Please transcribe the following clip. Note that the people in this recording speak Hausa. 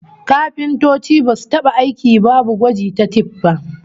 Kafintoci basu taba aiki babu gwaji ta tif ba